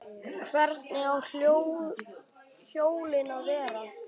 Hvernig á hjólið að vera?